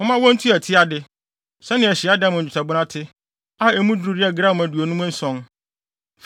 momma wontua ti ade, sɛnea hyiadan mu nnwetɛbona te, a emu duru yɛ gram aduonum nson.